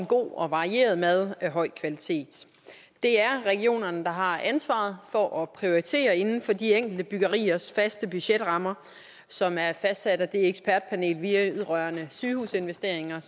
god og varieret mad af høj kvalitet det er regionerne der har ansvaret for at prioritere inden for de enkelte byggeriers faste budgetrammer som er fastsat af ekspertpanelet vedrørende sygehusinvesteringer